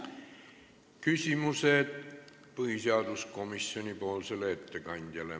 Küsimused põhiseaduskomisjoni ettekandjale.